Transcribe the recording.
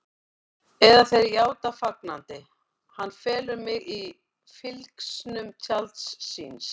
Eða þeir játa fagnandi: Hann felur mig í fylgsnum tjalds síns.